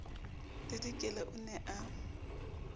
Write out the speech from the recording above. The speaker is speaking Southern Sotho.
le dikela o ne a